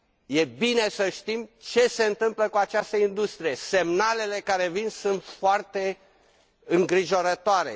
E bine să știm ce se întâmplă cu această industrie semnalele care vin sunt foarte îngrijorătoare.